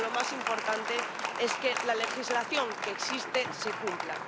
Pero lo más importante es que la legislación que existe se cumpla.